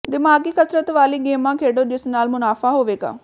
ਦਿਮਾਗ਼ੀ ਕਸਰਤ ਵਾਲੀ ਗੇਮਾਂ ਖੇਡੋ ਜਿਸ ਨਾਲ ਮੁਨਾਫ਼ਾ ਹੋਵੇਗਾ